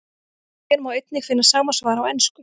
Hér má einnig finna sama svar á ensku.